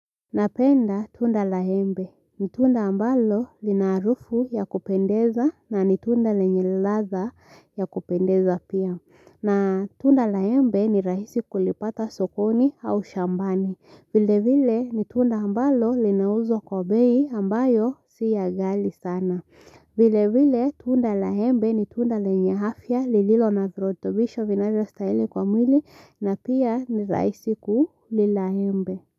Napenda tunda la embe ni tunda ambalo lina harufu ya kupendeza na ni tunda lenye ladha ya kupendeza pia na tunda la embe ni rahisi kulipata sokoni au shambani vilevile ni tunda ambalo linauzwa kwa bei ambayo si ya ghali sana vile vile tunda la embe ni tunda lenye afya lililo na virutubisho vinavyostahili kwa mwili na pia ni rahisi kulila wmbe.